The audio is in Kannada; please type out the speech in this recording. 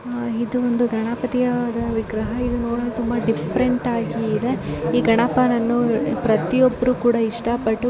ಇದು ಒಂದು ಗಣಪತಿಯ ವಿಗ್ರಹ ಇದು ನೋಡಲು ತುಂಬಾ ಡಿಫರೆಂಟ್‌ ಆಗಿ ಇದೆ ಗಣಪನನ್ನು ಪ್ರತಿಯೊಬ್ಬರು ಇಷ್ಟ ಪಟ್ಟು--